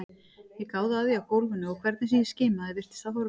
Ég gáði að því á gólfinu og hvernig sem ég skimaði virtist það horfið.